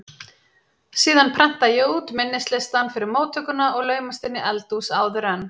Síðan prenta ég út minnislistann fyrir móttökuna og laumast inn í eldhús áður en